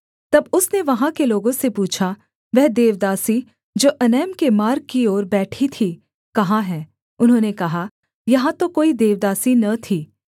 तब उसने वहाँ के लोगों से पूछा वह देवदासी जो एनैम में मार्ग की एक ओर बैठी थी कहाँ है उन्होंने कहा यहाँ तो कोई देवदासी न थी